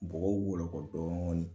bɔgɔkɔw wɔlɔkɔ dɔni